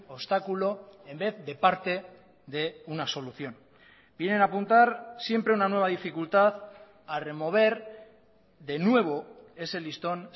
obstáculo en vez de parte de una solución vienen a apuntar siempre una nueva dificultad a remover de nuevo ese listón